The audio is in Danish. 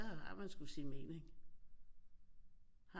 Har man sgu sin mening